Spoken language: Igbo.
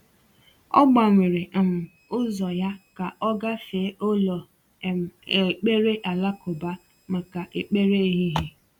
Ọ gbanwere um ụzọ ya ka ọ gafee ụlọ um ekpere alakụba maka ekpere ehihie.